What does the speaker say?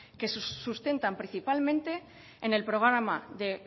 que se sustentan principalmente en el programa de